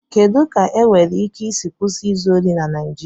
Kedu ka enwéré íké ísí kwụsị ízụ ohị na Naijiria?